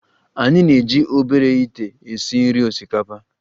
Anyị na-eji obere ite esi nri osikapa